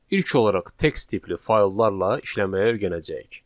İlk olaraq text tipli fayllarla işləməyə öyrənəcəyik.